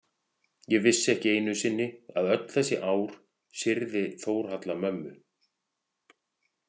Vissi ekki einu sinni að öll þessi ár syrgði Þórhalla mömmu.